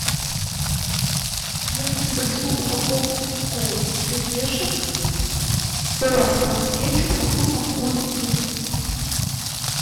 я хочу большую упаковку кириешек с соусом кетчуп со вкусом курицы